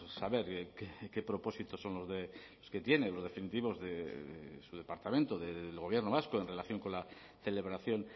saber qué propósitos son los que tienen los definitivos de su departamento del gobierno vasco en relación con la celebración